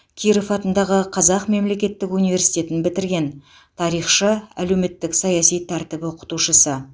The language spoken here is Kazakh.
киров атындағы қазақ мемлекеттік университетін бітірген тарихшы әлеуметтік саяси тәртіп оқытушысы